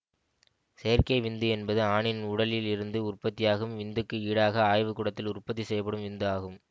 செயற்கை விந்து என்பது ஆணின் உடலில் இருந்து உற்பத்தியாகும் விந்துக்கு ஈடாக ஆய்வுகூடத்தில் உற்பத்தி செய்யப்படும் விந்து ஆகும்